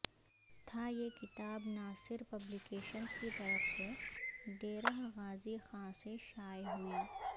تھا یہ کتاب ناصر پبلی کیشنز کی طرف سے ڈیرہ غازی خان سے شائع ہوئ